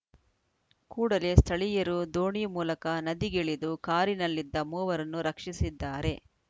ಕೂಡಲೇ ಸ್ಥಳೀಯರು ದೋಣಿ ಮೂಲಕ ನದಿಗಿಳಿದು ಕಾರಿನಲ್ಲಿದ್ದ ಮೂವರನ್ನು ರಕ್ಷಿಸಿದ್ದಾರೆ